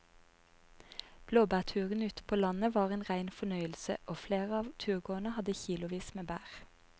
Blåbærturen ute på landet var en rein fornøyelse og flere av turgåerene hadde kilosvis med bær.